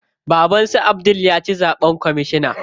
Baban su Abdul ya ci zaɓen kwamishina.